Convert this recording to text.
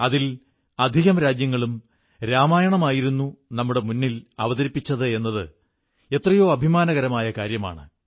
അവയിൽ അധികം രാജ്യങ്ങളും രാമായണമായിരുന്നു നമ്മുടെ മുന്നിൽ അവതരിപ്പിച്ചത് എന്നത് എത്രയോ അഭിമാനകരമായ കാര്യമാണ്